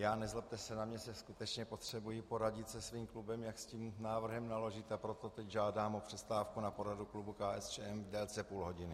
Já, nezlobte se na mě, se skutečně potřebuji poradit se svým klubem, jak s tím návrhem naložit, a proto teď žádám o přestávku na poradu klubu KSČM v délce půl hodiny.